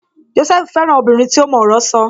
Jósẹ́fù fẹ́ràn obìnrin tí ó mọ ọ̀rọ̀ sọ